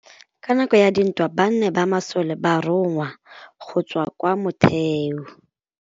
Ka nakô ya dintwa banna ba masole ba rongwa go tswa kwa mothêô.